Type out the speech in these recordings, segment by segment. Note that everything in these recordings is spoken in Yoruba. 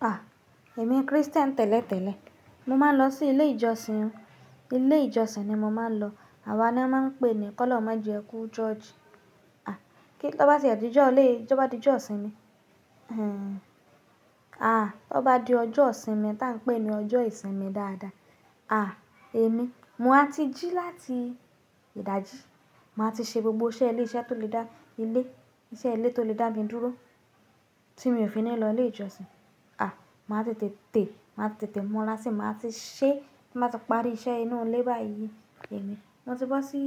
À, èmi Christian tẹ́lẹ̀tẹ́lẹ̀. Mo máa ń lọ sí ilé ìjọsìn. Ilé ìjọsìn ni mo máa ń lọ. Àwa ni a máa ń pè ní k'ọ́lọ́run ma jẹ́ ẹ ku ṣọ́ọ̀ṣì. À, kí ló bá ti di ọjọ́, lè, kí ló bá ti di ọjọ́ ìsinmi? Hmmm. À, tó bá di ọjọ́ ìsinmi tí à ń pè ní ọjọ́ ìsinmi dáadáa, à, èmi, mo máa ti jí láti ìdajì. Màá ti ṣe gbogbo iṣẹ́ ilé, iṣẹ́ tó lè dá ilé, iṣẹ́ ilé tó lè dá mi dúró tí mi ò fi ní lọ ilé ìjọsìn. À, màá ti tètè, màá tètè mú ọlá sí, màá ti ṣẹ, màá ti parí iṣẹ́ inú ilé báyìí. Èmi, tí mo bá sí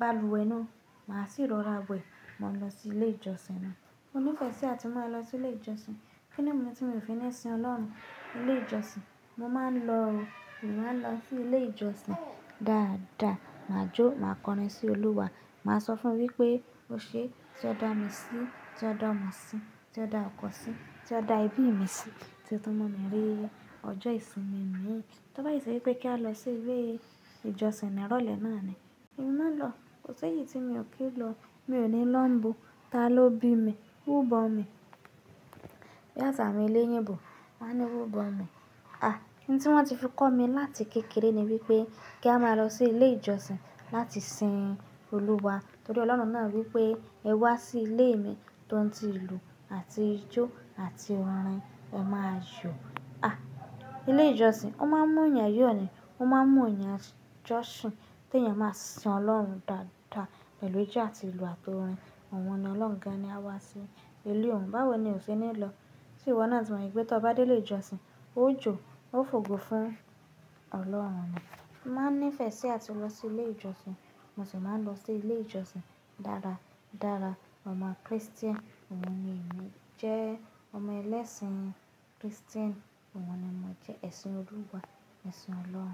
balùwẹ̀ náà, màá sì rọra wẹ̀. Mo máa lọ sí ilé ìjọsìn náà. Mo nífẹ̀ẹ́ sí àti mú ẹ lọ sí ilé ìjọsìn. Kí ni o mumi tí mi ò fi ní sin Ọlọ́run ní ilé ìjọsìn? Mo máa ń lọ o. Mo máa ń lọ sí ilé ìjọsìn dáadáa. Màá jó, màá kọrin sí Olúwa. Màá sọ fún wí pé, "O ṣe é, tí o dá mi sí, tí o dá ọmọ mi sí, tí o dá ọkọ mi sí, tí o dá ẹbí mi sí, tí o tún mú mi rí ọjọ́ ìsinmi mi yìí." Tó bá sì ṣe wí pé kí a lọ sí ilé ìjọsìn ní ìrọ̀lẹ́ náà ni, èmi máa lọ. Kò sé èyí tí mi ò kí ń lọ. Mi ò ní lọ̀ nibo. Ta ló bí mi? Wú bọ̀n mi. Bí àṣà awọ́n eléyìnbò, wọ́n á ní í wú bọ̀n mi. À, ohun tí wọ́n ti fi kọ́ mi láti kékeré ni wí pé kí a máa lọ sí ilé ìjọsìn láti sin Olúwa. Torí Ọlọ́run náà wí pé, "Ẹ wá sí ilé mi tó ń ti ìlú àti ijó àti orin, ẹ máa yọ̀." À, ilé ìjọsìn, ó máa ń mú ènìyàn yóò ní, ó máa ń mú ènìyàn jọ́ṣìn, tí ènìyàn máa sin Ọlọ́run dáadáa pẹ̀lú ijó àti ìlú àti orin. Ohun ni ọlọ́run gan-an ni a wá sí ilé òun. Báwo ni o ṣe ní lọ? Tí íwọ́ náà tí mo yè pé tó bá dé ilé ìjọsìn, ó jó, ó fògo fún Ọlọ́run ni. Mo máa ń nífẹ̀ẹ́ sí àti lọ sí ilé ìjọsìn. Mo sì máa ń lọ sí ilé ìjọsìn dára dára. Ọmọ Christian òun ni èmi. Jẹ́ ọmọ ẹlẹ́sìn Christian òun ni mo jẹ́. Ẹ̀sìn Olúwa, ẹ̀sìn Ọlọ́run.